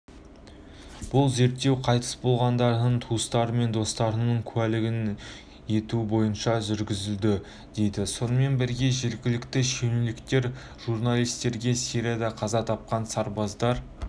бұл зерттеу қайтыс болғандардың туыстары мен достарының куәлік етуі бойынша жүргізілді дейді сонымен бірге жергілікті шенеуніктер журналистерге сирияда қаза тапқан сарбаздар